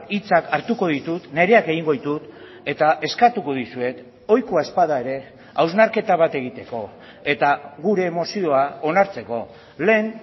hitzak hartuko ditut nireak egingo ditut eta eskatuko dizuet ohikoa ez bada ere hausnarketa bat egiteko eta gure mozioa onartzeko lehen